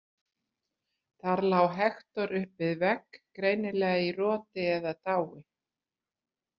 Þar lá Hektor upp við vegg, greinilega í roti eða dái.